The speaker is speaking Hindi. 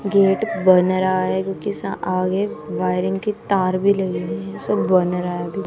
गेट बन रहा है आगे वायरिंग की तार भी लगे हुए सब बन रहा--